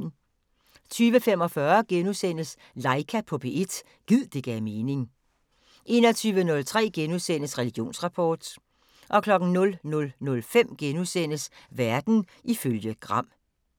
20:45: Laika på P1 – gid det gav mening * 21:03: Religionsrapport * 00:05: Verden ifølge Gram *